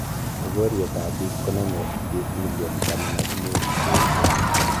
Nyogoryet ap bik ko name biik million taman ak mut che echen